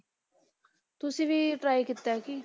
ਤੁਸੀਂ ਵੀ try ਕੀਤਾ ਕੀ?